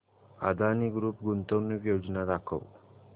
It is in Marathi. अदानी ग्रुप गुंतवणूक योजना दाखव